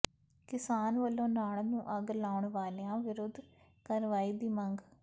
ਕਿਸਾਨ ਵੱਲੋਂ ਨਾੜ ਨੂੰ ਅੱਗ ਲਾਉਣ ਵਾਲਿਆਂ ਵਿਰੁੱਧ ਕਾਰਵਾਈ ਦੀ ਮੰਗ